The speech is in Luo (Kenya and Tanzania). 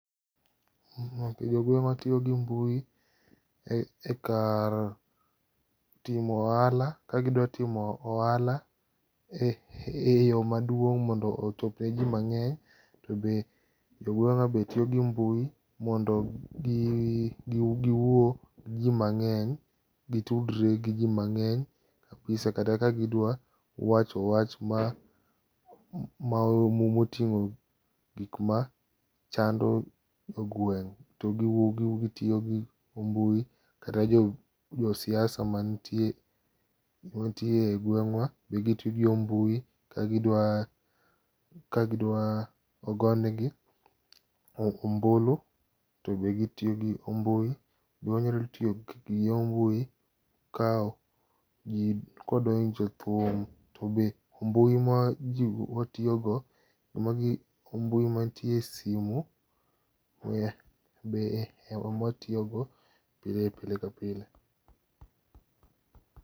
Jogueng'wa tiyo gi mbui e kar timo ohala kagidwa timo ohala eyo maduong' mondo ochop neji mang'eny to be jogweng'wa tiyo gi mbui mondo giwuo gi ji mang'eny, gitudre gi ji mang'eny kabisa kata ka gidwa wacho wach mar moting'o gik ma chando jogweng' to gitiyo gi mbui kata jo jo siasa mantie egweng'wa tiyo gi mbui kagidwa kagidwa ogonegi ombulu to be gitiyo gi mbui. Be wanyalo tiyo gi yor mbui ka ji ka wadwa winko thum, to be mbui ma watiyogo, ma gin mbui mantie e simu be ema watiyogo pile ka pile.